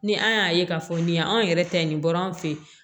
Ni an y'a ye k'a fɔ nin ye anw yɛrɛ ta ye nin bɔra an fɛ yen